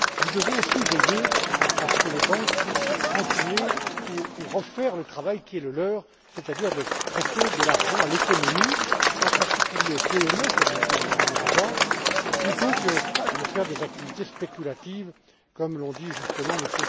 Nous devons aussi veiller à ce que les banques puissent continuer ou refaire le travail qui est le leur, c'est à dire prêter de l'argent à l'économie, en particulier aux PME, comme l'a dit Mme Miranda, plutôt que de se livrer à des activités spéculatives, comme l'ont dit, justement, M.